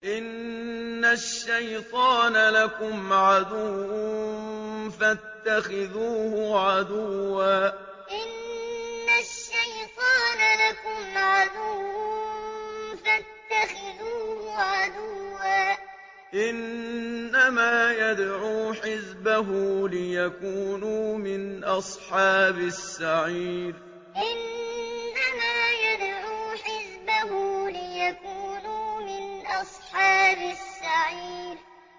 إِنَّ الشَّيْطَانَ لَكُمْ عَدُوٌّ فَاتَّخِذُوهُ عَدُوًّا ۚ إِنَّمَا يَدْعُو حِزْبَهُ لِيَكُونُوا مِنْ أَصْحَابِ السَّعِيرِ إِنَّ الشَّيْطَانَ لَكُمْ عَدُوٌّ فَاتَّخِذُوهُ عَدُوًّا ۚ إِنَّمَا يَدْعُو حِزْبَهُ لِيَكُونُوا مِنْ أَصْحَابِ السَّعِيرِ